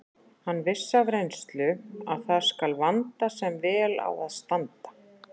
Hann vissi af reynslu að það skal vanda sem vel á að standa.